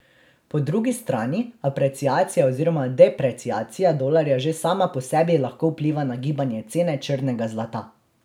Po drugi strani apreciacija oziroma depreciacija dolarja že sama po sebi lahko vpliva na gibanje cene črnega zlata.